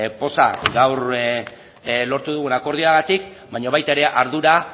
poza gaur lortu dugun akordioagatik baina baita ere ardura